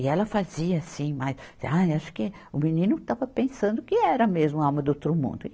E ela fazia assim, mas... Ah, acho que o menino estava pensando que era mesmo a alma do outro mundo.